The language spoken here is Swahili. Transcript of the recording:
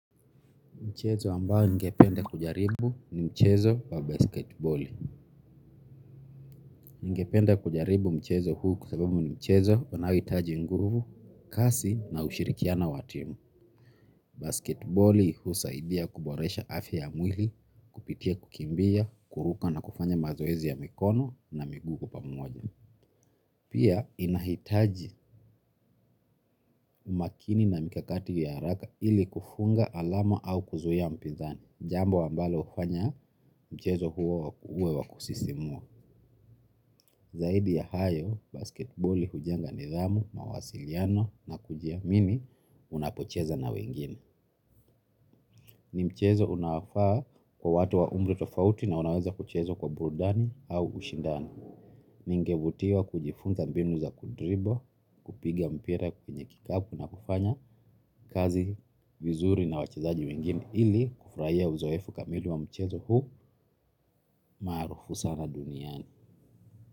Mchezo ambao ningependa kujaribu ni mchezo wa mpira wa kikapu. Ningependa kujaribu mchezo huu kwa sababu ni mchezo unaohitaji nguvu, kasi na ushirikiano wa timu. Basketboli husaidia kuboresha afya ya mwili, kupitia kukimbia, kuruka na kufanya mazoezi ya mikono na miguu pamoja. Pia inahitaji makini na mikakati ya haraka ili kufunga alama au kuzuia mpinzani jambo ambalo hufanya mchezo huo uwe wa kusisimua. Zaidi ya hayo, basketboli hujenga nidhamu, mawasiliano na kujiamini unapocheza na wengine. Ni mchezo unaofaa kwa watu wa umri tofauti na unaweza kuchezwa kwa burudani au ushindani. Ningevutiwa kujifunza mbinu za kudribble, kupiga mpira kwenye kikapu na kufanya kazi vizuri na wachezaji wengine ili kufurahia uzoefu kamili wa mchezo huu maarufu sana duniani.